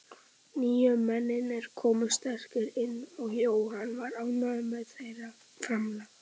Nýju mennirnir komu sterkir inn og Jóhann var ánægður með þeirra framlag.